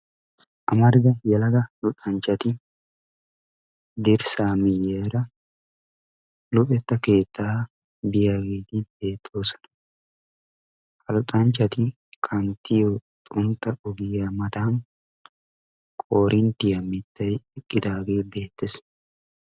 Amarida yelaga luxanchati dirssa miyiyara luxetta keettaa biyageti beetosona. Ha luxanchchati kanttiyo xuntta ogiya matan korinttiya mittay eqqidage beetees.